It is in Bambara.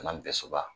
Kana bɛɛ soba